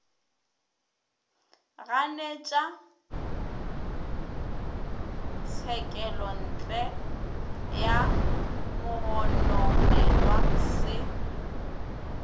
ganetša tshekelontle ya mogononelwa se